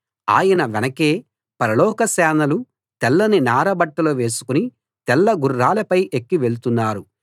ఆయన వెనకే పరలోక సేనలు తెల్లని నార బట్టలు వేసుకుని తెల్ల గుర్రాలపై ఎక్కి వెళ్తున్నారు